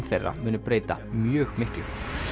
þeirra muni breyta mjög miklu